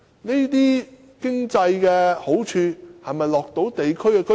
這些經濟好處能否惠及地區居民？